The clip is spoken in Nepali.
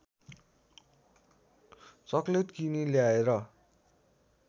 चक्लेट किनी ल्याएर